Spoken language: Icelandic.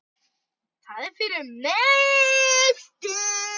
Það er fyrir mestu.